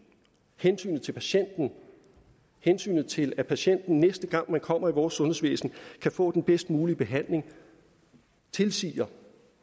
hensynet til patienten hensynet til at patienten næste gang vedkommende kommer i vores sundhedsvæsen kan få den bedst mulige behandling tilsiger